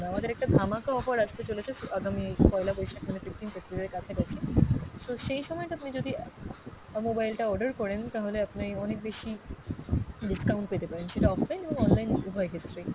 আমাদের একটা ধামাকা offer আসতে চলেছে আগামী পয়লা বৈশাখ মানে fifteenth April এর কাছাকাছি, so সেই সময়ে টা আপনি যদি অ্যাঁ mobile টা order করেন তাহলে আপনি অনেক বেশি discount পেতে পারেন, সেটা offline এবং online উভয় ক্ষেত্রেই।